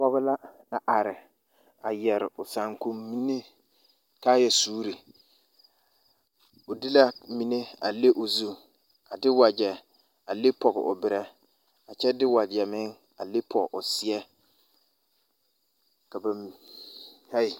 Pɔge la a are a su o saakom mine kaaya suuri o de la mine a leŋ o zu a de wagyɛ a leŋ pɔŋ o berɛ a kyɛ de wagyɛ meŋ a leŋ pɔŋ o seɛ ka ba mi hai